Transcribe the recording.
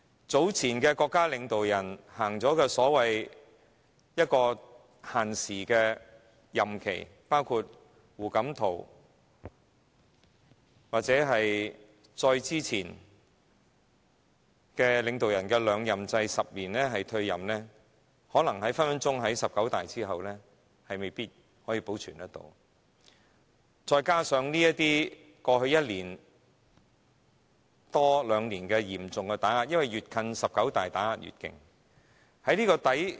早前的國家領導人實行有時限的任期，包括胡錦濤或再之前的領導人的兩任制，這個制度可能隨時在"十九大"之後未必能保存下去，再加上過去一年多兩年來嚴重打壓的緣故——越接近"十九大"，打壓便越嚴厲。